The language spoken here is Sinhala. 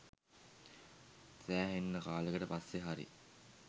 සෑහෙන්න කාලෙකට පස්සෙ හරි